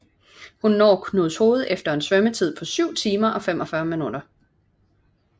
Hun når Knudshoved efter en svømmetid på 7 timer og 45 min